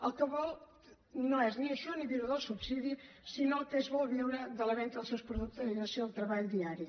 el que vol no és ni això ni viure del subsidi sinó que vol viure de la venda dels seus productes i del seu treball diari